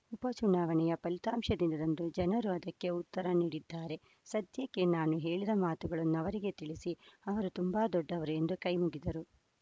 ಉಪ ಚುನಾವಣೆಯ ಫಲಿತಾಂಶ ದಿನದಂದು ಜನರು ಅದಕ್ಕೆ ಉತ್ತರ ನೀಡಿದ್ದಾರೆ ಸದ್ಯಕ್ಕೆ ನಾನು ಹೇಳಿದ ಮಾತುಗಳನ್ನು ಅವರಿಗೆ ತಿಳಿಸಿ ಅವರು ತುಂಬಾ ದೊಡ್ಡವರು ಎಂದು ಕೈ ಮುಗಿದರು